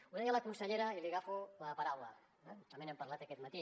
ho deia la consellera i li agafo la paraula eh també n’hem parlat aquest matí